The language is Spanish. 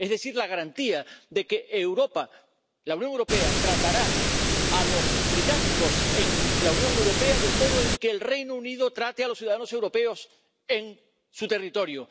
Es decir, la garantía de que la Unión Europea tratará a los británicos en la Unión Europea del modo en que el Reino Unido trate a los ciudadanos europeos en su territorio.